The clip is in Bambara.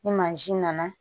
Ni mansin nana